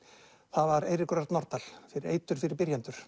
það var Eiríkur Örn Norðdahl fyrir eitur fyrir byrjendur